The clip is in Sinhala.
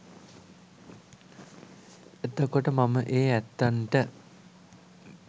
එතකොට මම ඒ ඇත්තන්ට